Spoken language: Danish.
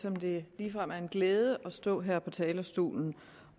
som det ligefrem er en glæde at stå her på talerstolen